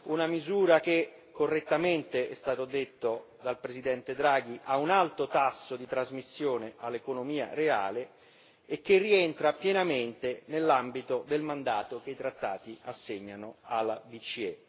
Una misura che correttamente, è stato detto dal Presidente Draghi, ha un alto tasso di trasmissione all'economia reale e che rientra pienamente nell'ambito del mandato che i trattati assegnano alla BCE.